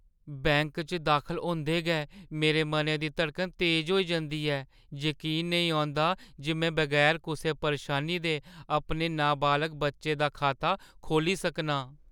Bank च दाखल होंदे गै मेरे मनै दी धड़कन तेज होई जंदी ऐ, जकीन नेईं होंदा जे में बगैर कुसै परेशानी दे अपने नाबालग बच्चे दी खाता खोह्‌ली सकना आं।